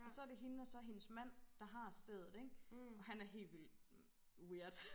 Og så det hende og så hendes mand der har stedet ikke og han er helt vildt weird